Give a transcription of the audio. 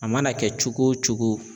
A mana kɛ cogo o cogo